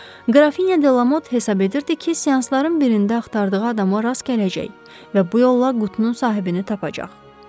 Qrafinya Delamot hesab edirdi ki, seansların birində axtardığı adamı rast gələcək və bu yolla qutunun sahibini tapacaq.